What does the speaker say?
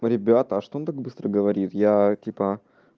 ну ребята а что так быстро говорит я типа